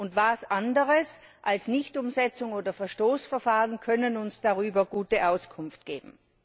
Und was sonst als Nichtumsetzungs oder Verstoßverfahren kann uns darüber Auskunft geben?